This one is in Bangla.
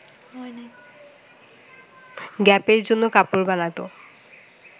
গ্যাপের জন্য কাপড় বানাতো